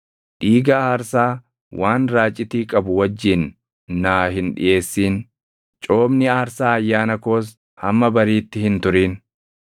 “Dhiiga aarsaa waan raacitii qabu wajjin naa hin dhiʼeessin. “Coomni aarsaa ayyaana koos hamma bariitti hin turin.